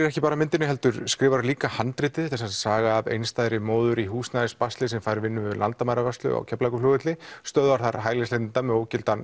ekki bara myndinni heldur skrifaðiru líka handritið þetta er sem sagt saga af einstæðri móður í húsnæðisbasli sem fær vinnu við landamæravörslu á Keflavíkurflugvelli stöðvar þar hælisleitenda með ógildan